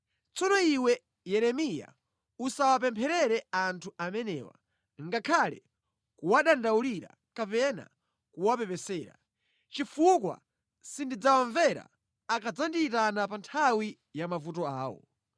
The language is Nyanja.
“Tsono iwe Yeremiya usawapempherere anthu amenewa ngakhale kuwadandaulira kapena kuwapepesera, chifukwa sindidzawamvera akadzandiyitana pa nthawi ya mavuto awo.